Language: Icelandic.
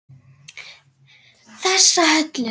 Þessa Höllu!